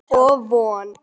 Af Von